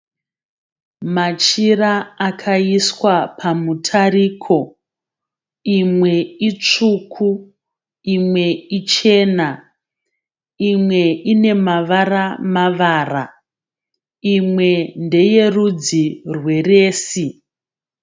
Machira akaiswa pamutariko. Imwe itsvuku, imwe ichena, imwe ine mavara mavara, imwe ndeyerudzi rwe resi.